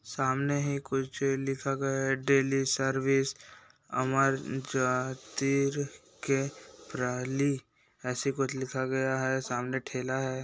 सामने ही कुछ लिखा गया है डेली सर्विस अमर जातिर के प्रा लि ऐसी कुछ लिखा गया है सामने ठेला है।